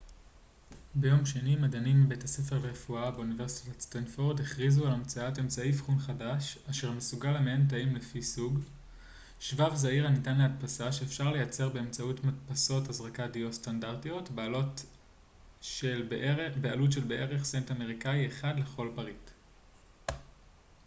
ביום שני מדענים מבית הספר לרפואה באוניברסיטת סטנפורד הכריזו על המצאת אמצעי אבחון חדש אשר מסוגל למיין תאים לפי סוג שבב זעיר הניתן להדפסה שאפשר לייצר באמצעות מדפסות הזרקת דיו סטנדרטיות בעלות של בערך סנט אמריקאי אחד לכל פריט